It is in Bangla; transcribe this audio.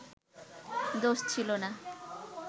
দোষ ছিলো না